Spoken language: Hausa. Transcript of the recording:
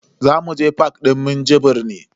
Zamu je fak din Minjibir ne.